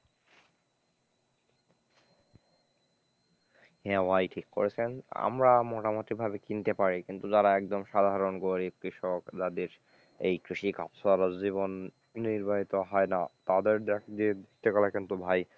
হ্যাঁ ভাই ঠিক করেছেন, আমরা মোটামুটি ভাবে কিনতে পারি, কিন্তু যারা একদম সাধারন গরিব কৃষক যাদের এই কৃষিকাজ সারা জীবন নির্বাহীত হয় না, তাদের দেখ যে যে কথা কিন্তু ভাই,